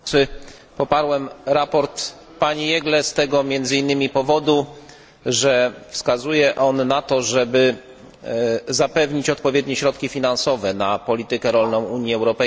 Poparłem sprawozdanie pani Jeggle z tego między innymi powodu, że wskazuje ono na to, żeby zapewnić odpowiednie środki finansowe na politykę rolną Unii Europejskiej.